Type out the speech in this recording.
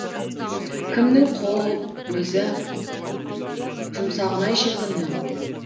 кімнің қол өзі жұмсағын ай шіркіннің